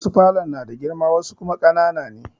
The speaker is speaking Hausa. Wasu falon na da girma wasu kuma ƙanana ne.